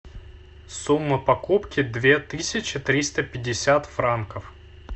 сумма покупки две тысячи триста пятьдесят франков